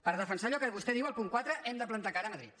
per defensar allò que vostè diu al punt quatre hem de plantar cara a madrid